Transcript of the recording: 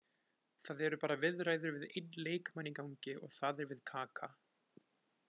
Það eru bara viðræður við einn leikmann í gangi og það er við Kaka.